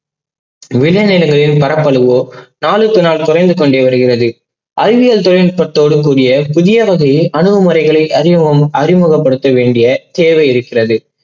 விதை நிலங்களின் பரப்பளவோ நாளுக்கு நாள் குறைந்து கொண்டே வருகின்றது. அறிவியல் தொழில்நுட்பத்தோடு கூடிய புதிய வகை அணுகுமுறைகளை அறிவோம் அறிமுகப்படுத்த வேண்டிய தேவை இருக்கிறது.